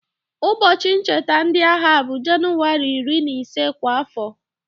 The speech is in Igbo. Ụbọchị ncheta ndị agha bụ Jenụwarị iri na ise kwa afọ.